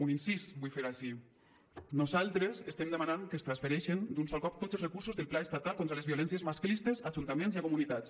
un incís vull fer ací nosaltres estem demanant que es transfereixin d’un sol cop tots els recursos del pla estatal contra les violències masclistes a ajuntaments i a comunitats